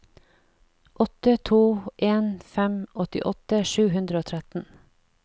åtte to en fem åttiåtte sju hundre og tretten